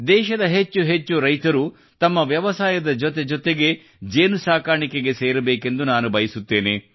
ದೇಶದ ಹೆಚ್ಚು ಹೆಚ್ಚು ರೈತರು ತಮ್ಮ ವ್ಯವಸಾಯದ ಜೊತೆಜೊತೆಗೆ ಜೇನು ನೊಣ ಸಾಕಾಣಿಕೆಗೆ ಸೇರಬೇಕೆಂದು ನಾನು ಬಯಸುತ್ತೇನೆ